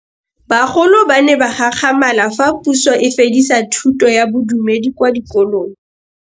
Bagolo ba ne ba gakgamala fa Pusô e fedisa thutô ya Bodumedi kwa dikolong.